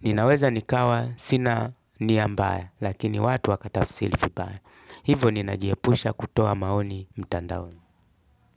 Ninaweza nikawa sina nia mbaya, lakini watu wakatafsiri vibaya. Hivo ninajiepusha kutoa maoni mtandaoni.